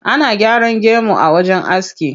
Ana gyaran gemu a wajen aski.